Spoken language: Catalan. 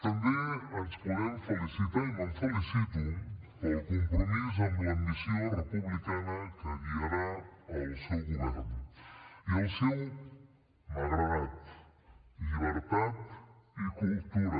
també ens podem felicitar i me’n felicito pel compromís amb l’ambició republicana que guiarà el seu govern i el seu m’ha agradat llibertat i cultura